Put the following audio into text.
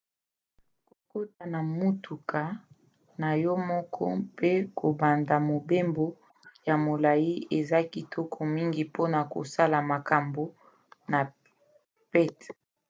kokota na motuka na yo moko mpe kobanda mobembo ya molai eza kitoko mingi mpona kosala makambo na pete